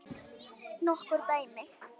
Nokkur dæmi?